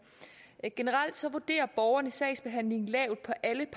generelt vurderer borgerne sagsbehandlingen lavt på alle